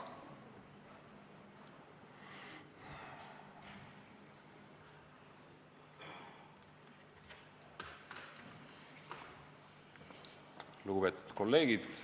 Lugupeetud kolleegid!